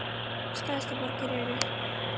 Stærstu borgir eru